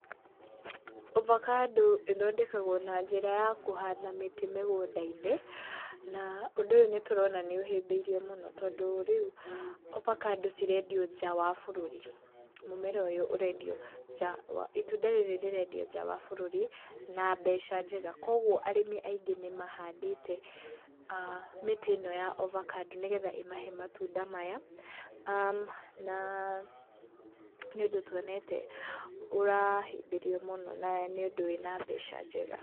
Ovacado ĩthondekagwo na njĩra ya kũhanda mĩtĩ mũgũnda-inĩ, na ũndũ ũyũ ndĩtũrona nĩ ũhĩmbĩirio mũno tondũ rĩu ovacado cirendio nja wa bũrũri. Itunda rĩrĩ rĩrendio nja wa bũrũri na mbeca njega koguo arĩmi aingĩ nĩmahandĩte mĩtĩ ĩno ya ovacado nĩgetha ĩmahe matunda maya. Na nĩũndũ tuonete ũrahĩmbĩrio mũno na nĩũndũ wĩna mbeca njega.